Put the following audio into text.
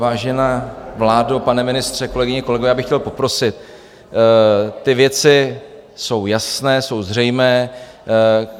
Vážená vládo, pane ministře, kolegyně, kolegové, já bych chtěl poprosit, ty věci jsou jasné, jsou zřejmé.